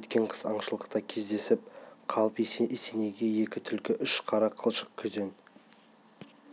өткен қыс аңшылықта кездесіп қалып есенейге екі түлкі үш қара қылшық күзен